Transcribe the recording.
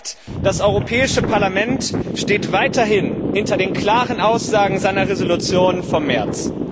Das zeigt, das Europäische Parlament steht weiterhin hinter den klaren Aussagen seiner Entschließung vom März.